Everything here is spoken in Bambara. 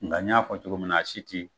Nka n y'a fɔ cogo min na a si ti